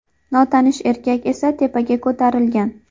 Notanish erkak esa tepaga ko‘tarilgan.